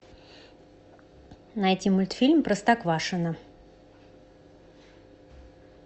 найти мультфильм простоквашино